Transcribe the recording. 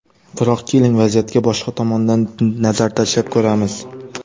Biroq, keling, vaziyatga boshqa tomondan nazar tashlab ko‘ramiz.